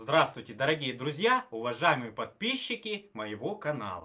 здравствуйте дорогие друзья уважаемые подписчики моего канала